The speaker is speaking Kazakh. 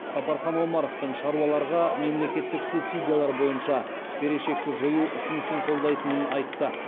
сапархан омаровтың шаруаларға мемлекеттік субсидиялар бойынша берешекті жою ұсынысын қолдайтынын айтты